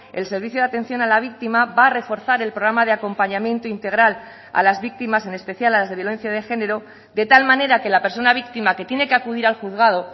el servicio de atención a la víctima va a reforzar el programa de acompañamiento integral a las víctimas en especial a las de violencia de género de tal manera que la persona víctima que tiene que acudir al juzgado